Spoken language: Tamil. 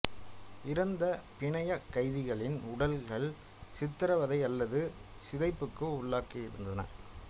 இறந்த பிணையக் கைதிகளின் உடல்கள் சித்திரவதை அல்லது சிதைப்புக்கு உள்ளாகியிருந்தன